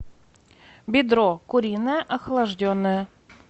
бедро куриное охлажденное